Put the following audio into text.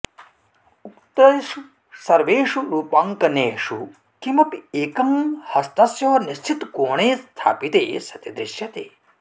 उक्तेषु सर्वेषु रूपाङ्कनेषु किमपि एकं हस्तस्य निश्चितकोणे स्थापिते सति दृश्यते